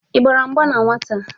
Igbara mgba na nnwata?